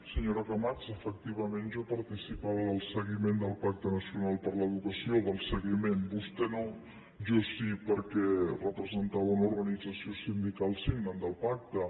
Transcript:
senyora camats efectivament jo participava del seguiment del pacte nacional per a l’educació del seguiment vostè no jo sí perquè representava una organització sindical signant del pacte